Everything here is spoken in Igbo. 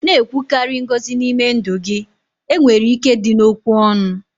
na-ekwukarị ngọzi n'ime ndụ gị, enwere ike dị n'okwu ọnụ